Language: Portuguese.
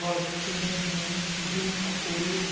Lógico, chorando muito, viu muita coisa.